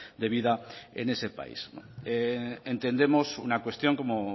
de vida en ese país entendemos una cuestión como